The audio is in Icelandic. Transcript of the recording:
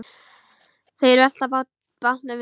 Þeir velta bátnum við.